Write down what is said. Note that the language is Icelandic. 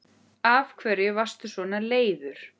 Af hverju varstu leiður?